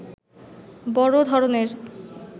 বড় ধরণের